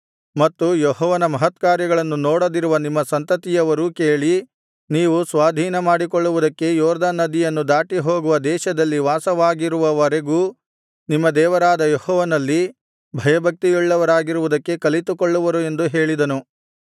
ಮತ್ತು ಯೆಹೋವನ ಮಹತ್ಕಾರ್ಯಗಳನ್ನು ನೋಡದಿರುವ ನಿಮ್ಮ ಸಂತತಿಯವರೂ ಕೇಳಿ ನೀವು ಸ್ವಾಧೀನಮಾಡಿಕೊಳ್ಳುವುದಕ್ಕೆ ಯೊರ್ದನ್ ನದಿಯನ್ನು ದಾಟಿ ಹೋಗುವ ದೇಶದಲ್ಲಿ ವಾಸವಾಗಿರುವವರೆಗೂ ನಿಮ್ಮ ದೇವರಾದ ಯೆಹೋವನಲ್ಲಿ ಭಯಭಕ್ತಿಯುಳ್ಳವರಾಗಿರುವುದಕ್ಕೆ ಕಲಿತುಕೊಳ್ಳುವರು ಎಂದು ಹೇಳಿದನು